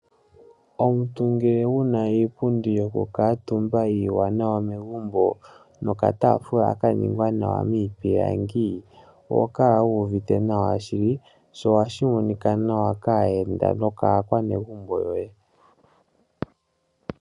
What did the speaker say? Omuntu ngele wu na iipundi yoku kala omutumba iiwanawa megumbo nokataafula ka ningwa nawa miipilangi, oho kala wuuvite nawa shili, sho oha shi monika nawa kaayenda nokaa kwanegumho yoye.